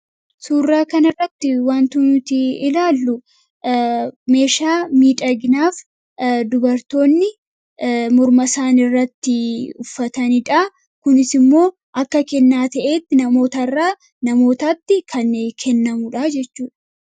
Suurraa kanirratti wantuunuti ilaallu meeshaa miidhagnaaf dubartoonni murmasaan irratti uffataniidha. Kunis immoo akka kennaa ta'etti namootarraa namootaatti kan kennamudha jechuudha.